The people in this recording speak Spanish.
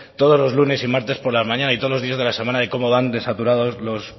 todos los lunes y martes por la mañana y todos los días de la semana de cómo van de saturados los